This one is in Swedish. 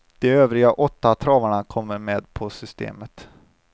De övriga åtta travarna kommer med på systemet.